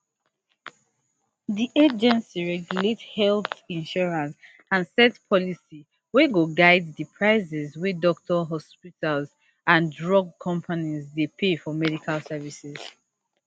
di agency regulate health insurance and set policy wey go guide di prices wey doctors hospitals and drug companies dey pay for medical services